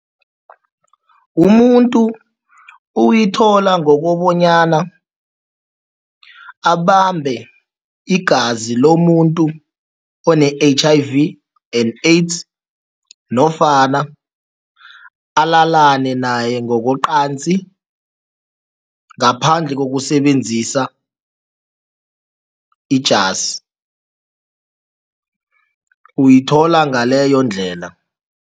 Umuntu uyithola ngokobanyana abambe igazi lomuntu one-H_I_V and AIDS nofana alalane naye ngokocansi ngaphandle kokusebenzisa ijasi, uyithola ngaleyo ndlela.